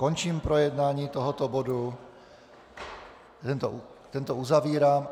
Končím projednávání tohoto bodu, tento uzavírám.